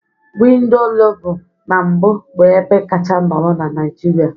Window louvre na mbụ bụ ebe kacha nọrọ na Naịjirịa